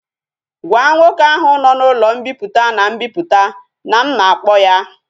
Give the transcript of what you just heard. Gwa nwoke ahu no na ulo mpiputa and mbiputa na m na akpo ya!